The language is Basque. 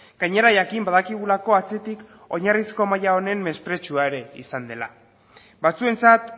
gainera jakin badakigulako atzetik oinarrizko maila honen mespretxua ere izan dela batzuentzat